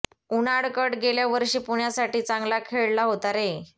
उनाडकट गेल्या वर्षी पुण्यासाठी चांगला खेळला होता रे